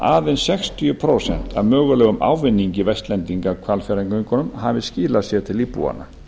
að aðeins sextíu prósent af mögulegum ávinningi vestlendinga af hvalfjarðargöngunum hafi skilað sér til íbúanna